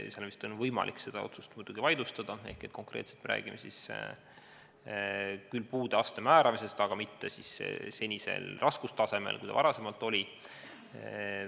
Seda otsust on vist muidugi võimalik vaidlustada ehk et konkreetselt me räägime küll puude astme määramisest, aga mitte sellisel raskusastmel, kui ta varasemalt oli.